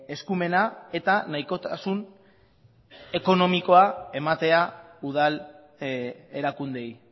eskumena eta nahikotasun ekonomikoa ematea udal erakundeei